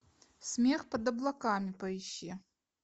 смех под облаками поищи